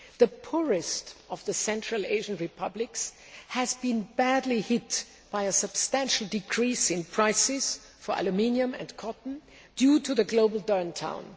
The poorest of the Central Asian republics has been badly hit by a substantial decrease in prices for aluminium and cotton due to the global downturn.